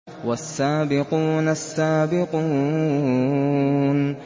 وَالسَّابِقُونَ السَّابِقُونَ